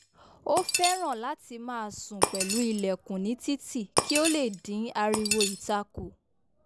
o fẹràn lati má sùn pẹlu ìlèkùn ní títì kí o lè dín ariwo ìta kù